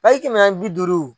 page kɛmɛnaani ni bi duuru.